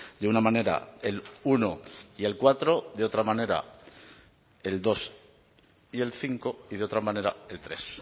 de una manera el uno y el cuatro de otra manera el dos y el cinco y de otra manera el tres